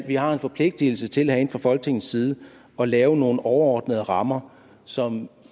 vi har en forpligtelse til herinde fra folketingets side at lave nogle overordnede rammer som